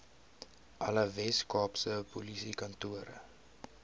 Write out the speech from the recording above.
alle weskaapse polisiekantore